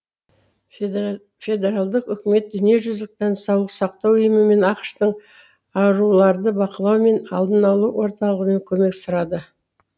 федералдық үкімет дүниежүзілік денсаулық сақтау ұйымы мен ақш тың ауруларды бақылау мен алдын алу орталығынан көмек сұрады